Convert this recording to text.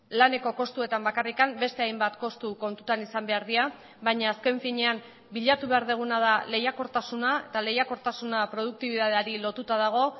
laneko kostuetan bakarrik beste hainbat kostu kontutan izan behar dira baina azken finean bilatu behar duguna da lehiakortasuna eta lehiakortasuna produktibitateari lotuta dago